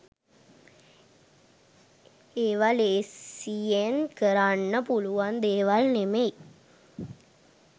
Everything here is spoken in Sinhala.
ඒව ලේසියෙන් කරන්න පුළුවන් දේවල් නෙමෙයි